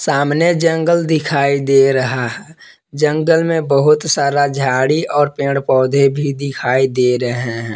सामने जंगल दिखाई दे रहा हैं जंगल में बहुत सारा झाड़ी और पेड़ पौधे भी दिखाई दे रहे है।